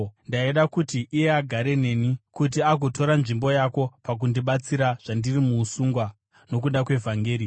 Ndaida kuti iye agare neni kuti agotora nzvimbo yako pakundibatsira zvandiri muusungwa nokuda kweVhangeri.